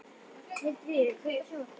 Hildiríður, kveiktu á sjónvarpinu.